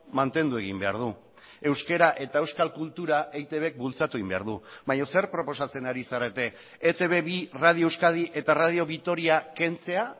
mantendu egin behar du euskara eta euskal kultura eitbk bultzatu egin behar du baina zer proposatzen ari zarete etb bi radio euskadi eta radio vitoria kentzea